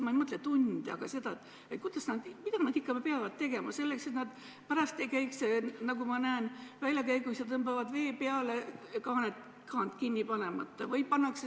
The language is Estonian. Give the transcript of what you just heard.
Ma ei mõtle tunde, vaid seda, kuidas ja mida nad ikkagi peaksid tegema, et nad pärast ei käiks, nagu ma näen, väljakäigus ega tõmbaks vett peale kaant kinni panemata.